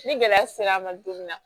Ni gɛlɛya sera a ma don min na